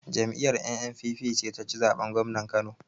Jam'iyar NNPP ce ta ci zaɓen gwamna a Kano.